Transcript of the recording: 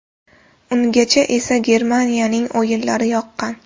Ungacha esa Germaniyaning o‘yinlari yoqqan.